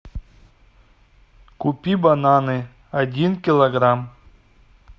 купи бананы один килограмм